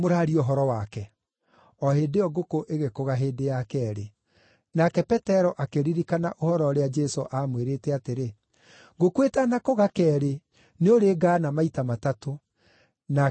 O hĩndĩ ĩyo ngũkũ ĩgĩkũga hĩndĩ ya keerĩ. Nake Petero akĩririkana ũhoro ũrĩa Jesũ aamwĩrĩte atĩrĩ, “Ngũkũ ĩtanakũga keerĩ nĩũrĩngaana maita matatũ.” Nake akĩambĩrĩria kũrĩra.